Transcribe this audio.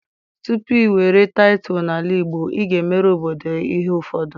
tupu i were tittle n'ala Igbo, i ga-emere obodo ihe ufodu.